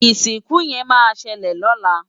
Isinku yen ma sele lola